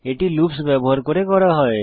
এটি লুপস ব্যবহার করে করা হয়